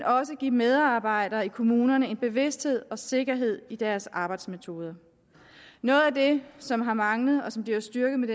også give medarbejdere i kommunerne en bevidsthed og sikkerhed i deres arbejdsmetoder noget af det som har manglet og som bliver styrket med